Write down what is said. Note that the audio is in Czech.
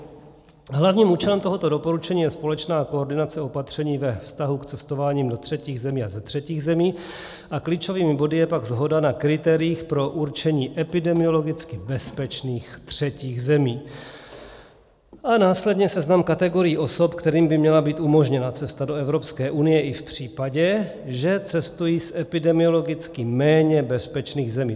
Hlavním účelem tohoto doporučení je společná koordinace opatření ve vztahu k cestováním do třetích zemí a ze třetích zemí a klíčovými body je pak shoda na kritériích pro určení epidemiologicky bezpečných třetích zemí a následně seznam kategorií osob, kterým by měla být umožněna cesta do Evropské unie i v případě, že cestují z epidemiologicky méně bezpečných zemí.